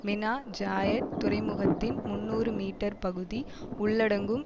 Mina Zayed துறைமுகத்தின் முன்னூறு metre பகுதி உள்ளடங்கும்